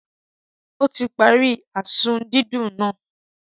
Ó ti pari azu didùn nàá